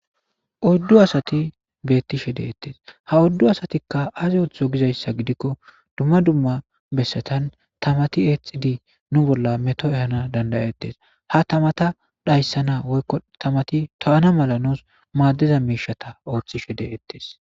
Oyddu asatti betishe de'tes.ha oyddu asattika azi oththosonna giiko dumma dumma bessatan tammatti exiddi nu bolla metto ehana danda'ettes. Ha taamatta dhayssana woyko tammatti toyyana mala maddiza mishshatta otishe de'ettes.